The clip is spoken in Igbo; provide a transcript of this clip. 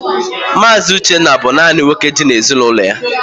Mazi Uchendu bú nanị nwoke dị n'ezinụlọ ya.